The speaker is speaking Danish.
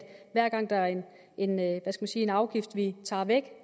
hver gang der er en en afgift vi tager væk